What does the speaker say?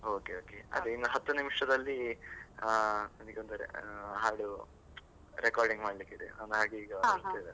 Okay okay ಅದ್ ಇನ್ ಹತ್ತು ನಿಮಿಷದಲ್ಲಿ ಆ ನನಗಂದ್ರೆ ಹಾಡು recording ಮಾಡಲಿಕ್ಕಿದೆ ಅವನು ಹಾಗೆ ಈಗ ಬರ್ತಾ .